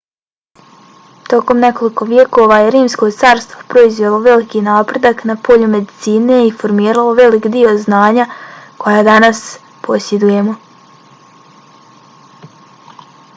tokom nekoliko vijekova je rimsko carstvo proizvelo veliki napredak na polju medicine i formiralo velik dio znanja koja danas posjedujemo